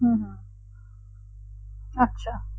হুম আচ্ছা